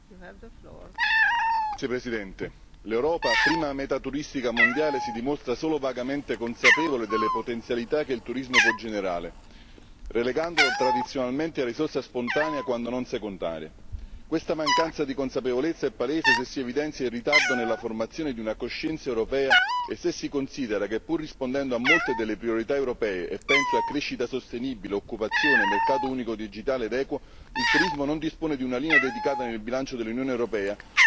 Signora presidente, onorevoli colleghi, l'Europa prima meta turistica mondiale si dimostra solo vagamente consapevole delle potenzialità che il turismo può generare, relegandolo tradizionalmente a risorsa spontanea, quando non secondaria. Questa mancanza di consapevolezza è palese se si evidenzia il ritardo nella formazione di una coscienza europea e se si considera che, pur rispondendo a molte delle priorità europee penso a crescita sostenibile, occupazione, mercato unico digitale ed equo il turismo non dispone di una linea dedicata nel bilancio dell'Unione europea, ma di un'incoerente ripartizione in fondi, progetti pilota e azioni preparatorie.